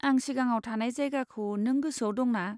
आं सिगाङाव थानाय जायगाखौ नों गोसोआव दं ना?